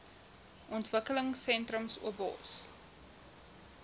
ontwikkelingsentrums obos